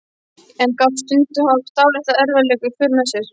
En gat stundum haft dálitla erfiðleika í för með sér.